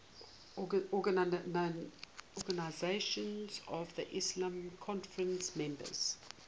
organisation of the islamic conference members